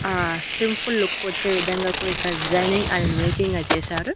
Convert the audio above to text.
ఆ simple look వచ్చే విధంగా కూడా ఇక్కడ డిజైనింగ్ అనేది మేకింగ్ గా చేశారు.